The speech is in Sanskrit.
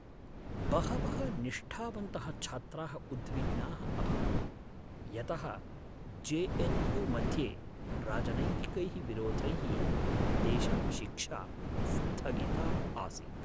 बहवः निष्ठावन्तः छात्राः उद्विग्नाः अभवन् यतः जे.एन्.यू. मध्ये राजनैतिकैः विरोधैः तेषां शिक्षा स्थगिता आसीत्।